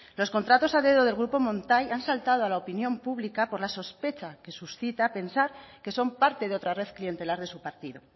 los contratos a dedo del grupo montai han saltado a la opinión pública por la sospecha que suscita pensar que son parte de otra red clientelar de su partido